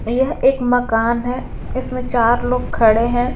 यह एक मकान हैं इसमें चार लोग खड़े हैं।